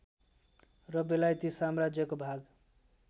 र बेलायती साम्राज्यको भाग